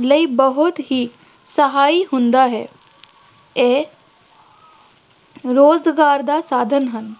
ਲਈ ਬਹੁਤ ਹੀ ਸਹਾਈ ਹੁੰਦਾ ਹੈ ਇਹ ਰੁਜ਼ਗਾਰ ਦਾ ਸਾਧਨ ਹਨ,